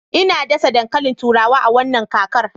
Ina dasa dankalin turawa a wannan kakar